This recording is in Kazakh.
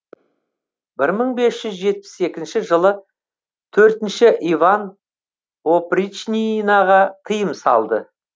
бір мың бес жүз жетпіс екінші жылы төртінші иван опричнинаға тыйым салды